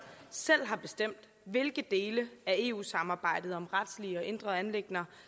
selv har bestemt hvilke dele af eu samarbejdet om retlige og indre anliggender